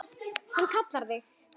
Hvað hann kallar þig?